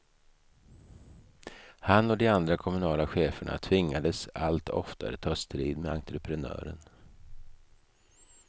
Han och de andra kommunala cheferna tvingades allt oftare ta strid med entreprenören.